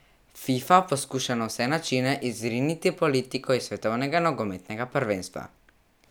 Fifa poskuša na vse načine izriniti politiko iz svetovnega nogometnega prvenstva.